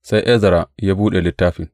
Sai Ezra ya buɗe littafin.